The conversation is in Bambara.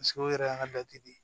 o yɛrɛ y'an ka de ye